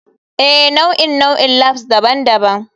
Ee, nau'in nau'in labs daban-daban.